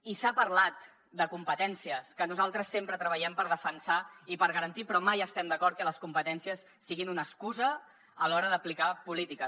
i s’ha parlat de competències que nosaltres sempre treballem per defensar i per garantir però mai estem d’acord que les competències siguin una excusa a l’hora d’aplicar polítiques